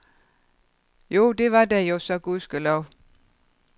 Jo, det var der jo så gudskelov.